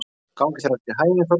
Gangi þér allt í haginn, Þórkatla.